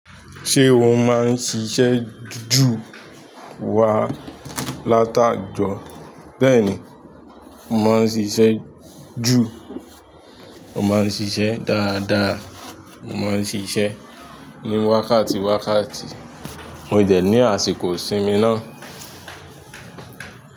Ṣé o máa ń ṣiṣẹ́ ju wá latajo? Bẹ́ẹ̀ni, mo máa ń ṣiṣẹ́ ju, mo máa ń ṣiṣẹ́ dáadáa, mo máa ń ṣiṣẹ́ ní wákàtí wákàtí, mo dẹ̀ ní àsìkò ìsinmi náà.